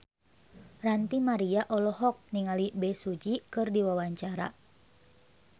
Ranty Maria olohok ningali Bae Su Ji keur diwawancara